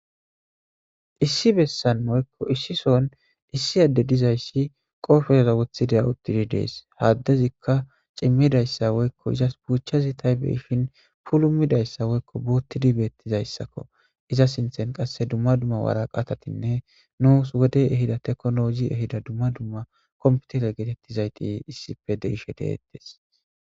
Issi bessan moykko issison issi adde dizayssi qoofereza wothideya uttidi dees haaddezikka cimmidayssa woykko izas buuchazi taybeishin pulumidayssa woykko boottidi beettizayssakko iza sinthen qasse dumma dumma waraqaatatinne nuus wodey ehida teklologi ehida dumma dumma komputere geetettizayti issife deishe deettes.